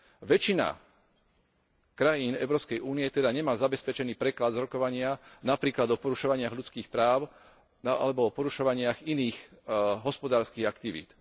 Väčšina krajín Európskej únie teda nemá zabezpečený preklad z rokovania napríklad o porušovaní ľudských práv alebo porušovaní iných hospodárskych aktivít.